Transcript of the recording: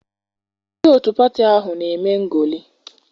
Ndị otu pati ahụ na-eme ngolị.